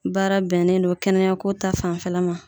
Baara bɛnnen don kɛnɛya ko ta fanfɛla ma.